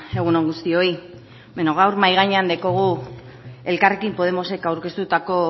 egun on guztioi bueno gaur mahai gainean daukagu elkarrekin podemosek aurkeztutako